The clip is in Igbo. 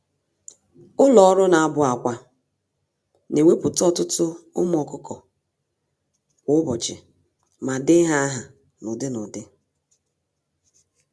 Ụlọ-ọrụ-na-abụ-ákwà (hatcheries) newepụta ọtụtụ ụmụ ọkụkọ kwa ụbọchị, ma dee ha áhà n'ụdị-n'ụdị